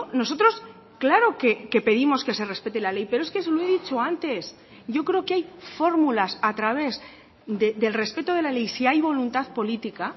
nosotros claro que pedimos que se respete la ley pero es que se lo he dicho antes yo creo que hay fórmulas a través del respeto de la ley si hay voluntad política